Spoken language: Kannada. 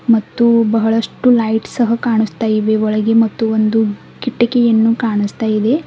ಮತ್ತು ಬಹಳಷ್ಟು ಲೈಟ್ ಸಹ ಕಾಣಸ್ತಾ ಇವೆ ಒಳಗೆ ಮತ್ತು ಒಂದು ಕಿಟಕಿಯನ್ನು ಕಾಣಿಸ್ತಾ ಇದೆ.